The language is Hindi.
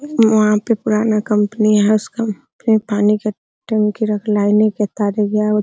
वहाँ पे पुराना कंपनी है उसका पि पानी का टंकी रख लाइनें का तार